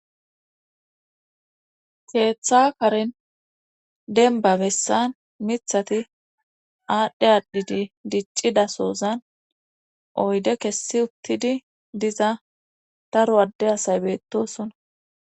keeththa karen denba bessan mithati aadhdhe aadhidi diccida sozan oyde kessi uttidi diza daro adde asay beettosona